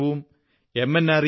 എല്ലാ വർഷവും എം